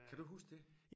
Kan du huske det?